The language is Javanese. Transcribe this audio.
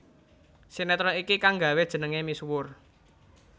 Sinetron iki kangg nggawé jenengé misuwur